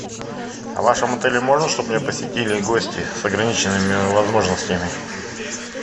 а в вашем отеле можно чтоб меня посетили гости с ограниченными возможностями